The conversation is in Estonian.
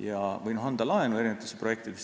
või anda laenu mitmesugustesse projektidesse.